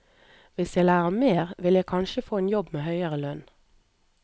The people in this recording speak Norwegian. Hvis jeg lærer mer, vil jeg kanskje få en jobb med høyere lønn.